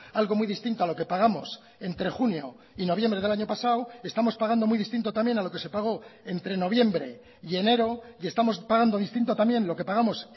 algo muy distinto a lo que pagamos entre junio y noviembre del año pasado estamos pagando muy distinto también a lo que se pagó entre noviembre y enero y estamos pagando distinto también lo que pagamos